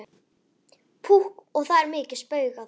Púkk og það er mikið spaugað.